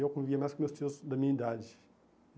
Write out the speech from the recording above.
E eu convivia mais com meus tios da minha idade.